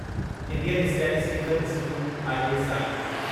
Indian Statistical Institute ISI